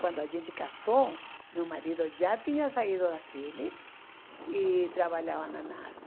Quando a gente casou, meu marido já tinha saído da Philips e trabalhava na NASA.